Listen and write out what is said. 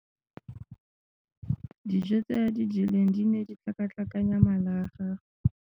Dijo tse a di jeleng di ne di tlhakatlhakanya mala a gagwe.